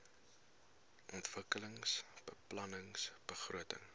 ontwikkelingsbeplanningbegrotings